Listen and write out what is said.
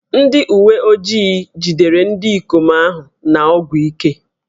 Ndị uwe ojii jidere ndị ikom ahụ na ọgwụ ike